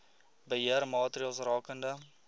beheer maatreëls rakende